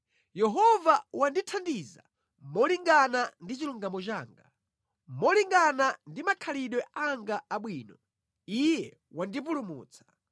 Yehova wandithandiza molingana ndi chilungamo changa; molingana ndi makhalidwe anga abwino, Iye wandipulumutsa.